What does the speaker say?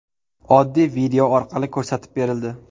Oddiy video orqali ko‘rsatib berildi.